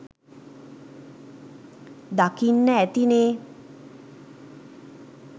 දකින්න ඇතිනේ